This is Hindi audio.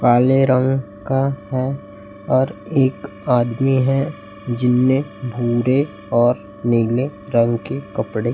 काले रंग का है और एक आदमी है जिनमें भूरे और नीले रंग के कपड़े --